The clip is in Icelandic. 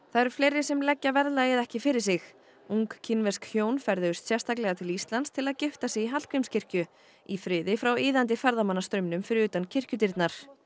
það eru fleiri sem leggja verðlagið ekki fyrir sig ung kínversk hjón ferðuðust sérstaklega til Íslands til að gifta sig í Hallgrímskirkju í friði frá iðandi ferðamannastraumnum fyrir utan kirkjudyrnar